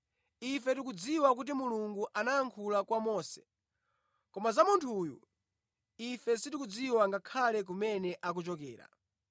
Ife tikudziwa kuti Mulungu anayankhula kwa Mose, koma za munthu uyu, ife sitikudziwa ngakhale kumene akuchokera.”